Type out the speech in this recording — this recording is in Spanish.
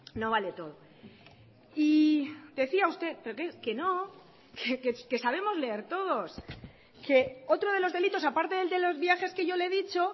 no vale todo y decía usted que no que sabemos leer todos que otro de los delitos aparte del de los viajes que yo le he dicho